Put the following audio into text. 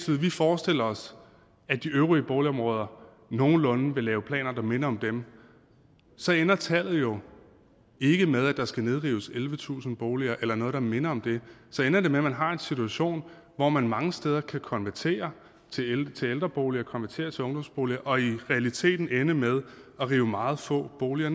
vi forestiller os at de øvrige boligområder nogenlunde vil lave planer der minder om dem så ender tallet jo ikke med at der skal nedrives ellevetusind boliger eller noget der minder om det så ender det med at man har en situation hvor man mange steder kan konvertere til ældreboliger og konvertere til ungdomsboliger og i realiteten ende med at rive meget få boliger